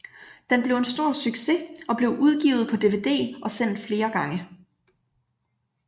Den blev en stor succes og blev udgivet på DVD og sendt flere gange